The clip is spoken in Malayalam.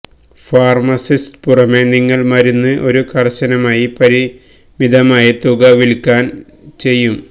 ഫാർമസിസ്റ്റ് പുറമേ നിങ്ങൾ മരുന്ന് ഒരു കർശനമായി പരിമിതമായ തുക വിൽക്കാൻ ചെയ്യും